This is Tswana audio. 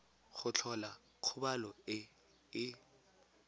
go tlhola kgobalo e e